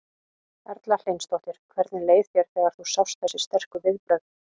Erla Hlynsdóttir: Hvernig leið þér þegar þú sást þessi sterku viðbrögð?